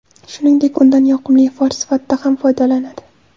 Shuningdek, undan yoqimli ifor sifatida ham foydalanadi.